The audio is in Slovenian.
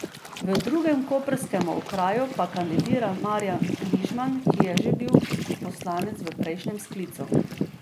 V drugem koprskem okraju pa kandidira Marjan Križman, ki je že bil poslanec v prejšnjem sklicu.